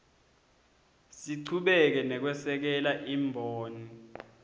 sichubeke nekwesekela imboni